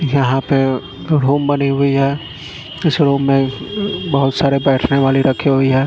यहाँ पे रूम बनी हुई है इस रूम मे बहुत सारे बैठने वाली रखी हुई है।